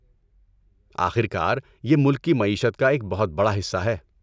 آخر کار، یہ ملک کی معیشت کا ایک بہت بڑا حصہ ہے۔